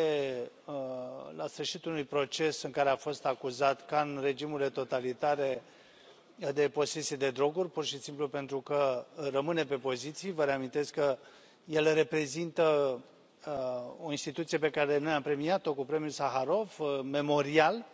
este la sfârșitul unui proces în care a fost acuzat, ca în regimurile totalitare, de posesie de droguri, pur și simplu pentru că rămâne pe poziții vă reamintesc că el reprezintă o instituție pe care noi am premiat o cu premiul Saharov, memorial